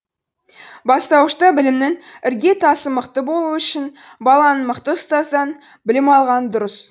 бастауышта білімнің іргетасы мықты болуы үшін баланың мықты ұстаздан білім алғаны дұрыс